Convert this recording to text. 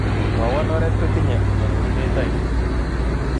Mwawon ooreet kotinye arorunet ainon